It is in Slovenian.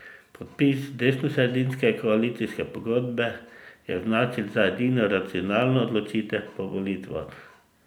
Podpis desnosredinske koalicijske pogodbe je označil za edino racionalno odločitev po volitvah.